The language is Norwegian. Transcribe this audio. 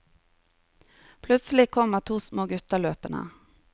Plutselig kommer to små gutter løpende.